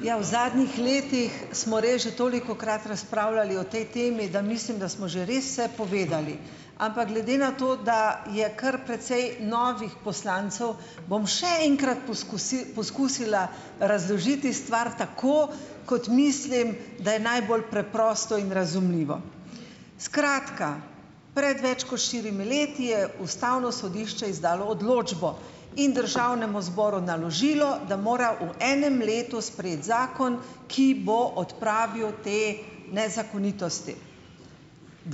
Ja, v zadnjih letih smo res že tolikokrat razpravljali o tej temi, da mislim, da smo že res vse povedali. Ampak glede na to, da je kar precej novih poslancev, bom še enkrat poskusila razložiti stvar tako, kot mislim, da je najbolj preprosto in razumljivo. Skratka. Pred več kot štirimi leti je ustavno sodišče izdalo odločbo. In državnemu zboru naložilo, da mora v enem letu sprejeti zakon, ki bo odpravil te nezakonitosti.